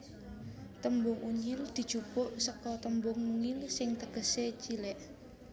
Tembung Unyil dijupuk seka tembung mungil sing tegesé cilik